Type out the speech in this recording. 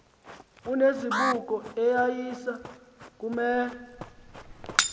onezibuko eyayiza kuwela